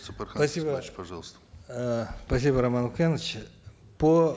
сапархан спасибо пожалуйста э спасибо роман охенович по